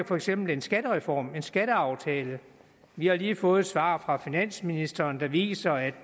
for eksempel en skattereform en skatteaftale vi har lige fået et svar fra finansministeren der viser at